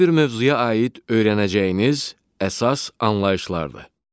Hər bir mövzuya aid öyrənəcəyiniz əsas anlayışlardır.